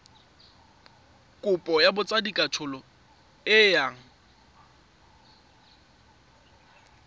kopo ya botsadikatsholo e yang